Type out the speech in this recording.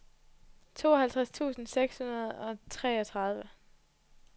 tooghalvtreds tusind seks hundrede og treogtredive